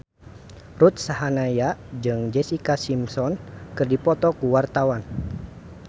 Ruth Sahanaya jeung Jessica Simpson keur dipoto ku wartawan